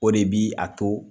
O de bi a to